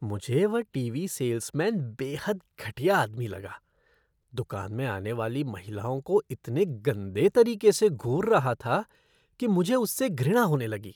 मुझे वह TV salesman बेहद घटिया आदमी लगा, दुकान में आने वाली महिलाओं को इतने गंदे तरीके से घूर रहा था कि मुझे उससे घृणा होने लगी।